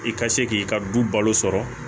I ka se k'i ka du balo sɔrɔ